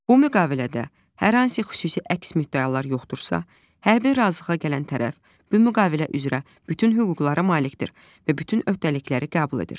Bu müqavilədə hər hansı xüsusi əks müddəalar yoxdursa, hər bir razılığa gələn tərəf bu müqavilə üzrə bütün hüquqlara malikdir və bütün öhdəlikləri qəbul edir.